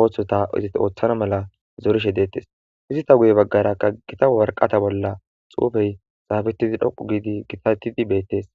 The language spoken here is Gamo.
ooththota izit ooththana mala zorishe deettes izita guye baggara kagita warqata bolla xuufey xaabetidi dhoqu giidi gitatidi beettees.